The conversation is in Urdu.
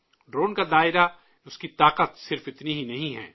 ڈرون کا دائرہ، اس کی طاقت، صرف اتنی ہی نہیں ہے